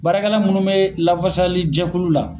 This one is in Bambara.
Baara kɛla minnu bɛ lafasali jɛkulu la.